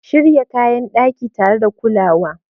Shirya kayan daki tare da kulawa